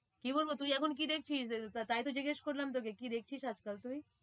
কি বলবো তুই এখন কি দেখছিস? তাই তো জিজ্ঞেস করলাম তোকে কি দেখছিস আজ কাল তুই?